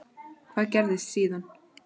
Hvað gerðist síðan?